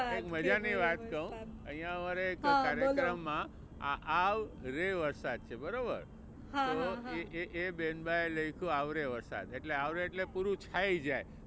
સાદ. એક મજાની વાત કવ. અહિયાં અમારે એક કાર્યક્રમ માં આ આવ રે વરસાદ છે બરોબર, તો એ એ બેન બાએ લખ્યું આવરે વરસાદ એટલે આવરે એટલે પૂરું થઇ જાય.